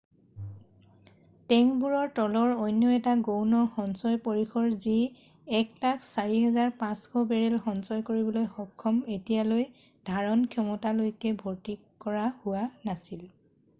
টেংকবোৰৰ তলৰ অন্য এটা গৌণ সঞ্চয় পৰিসৰ যি 104,500 বেৰেল সঞ্চয় কৰিবলৈ সক্ষম এতিয়ালৈ ধাৰণ ক্ষমতালৈকে ভৰ্তি কৰা হোৱা নাছিল